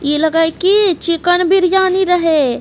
इ लग हई की चिकन बिरयानी रहे।